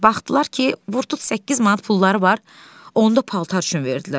Baxdılar ki, vurdut 8 manat pulları var, onda paltar üçün verdilər.